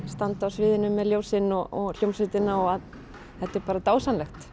standa á sviðinu með ljósin og hljómsveitina þetta er bara dásamlegt